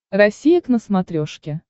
россия к на смотрешке